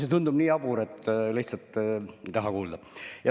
See tundub nii jabur, et lihtsalt ei taha kuulda.